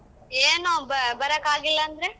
ಏನೋ ಬ~ ಬರಕ್ಕಾಗಿಲ್ಲ ಅಂದ್ರೆ?